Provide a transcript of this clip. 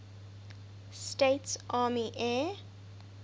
states army air